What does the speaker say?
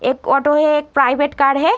एक ऑटो है। एक प्राइवेट कार है।